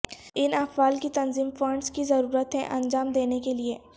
ان افعال کی تنظیم فنڈز کی ضرورت ہے انجام دینے کے لئے